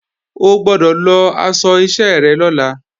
O gbọ́dọ̀ lọ aṣọ iṣẹ́ rẹ lọ́la!